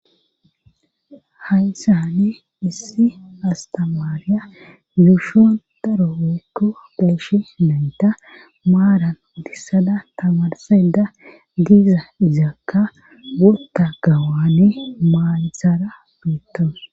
hayssani issi astamaariya yuushon daro weekko peeshi nayta maaran dissada tamarseda diiza izakka wurta gawane maayisara biitton